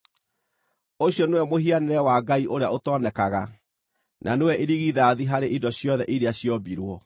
Ũcio nĩwe mũhianĩre wa Ngai ũrĩa ũtonekaga, na nĩwe irigithathi harĩ indo ciothe iria ciombirwo.